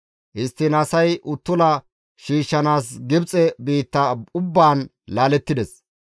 Histtiin asay uttula shiishshanaas Gibxe biitta ubbaan laalettides.